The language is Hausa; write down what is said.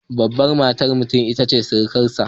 Babar matar mutum ita ce sirikarsa.